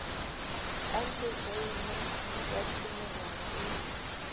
anke joyene ya dilemonyana e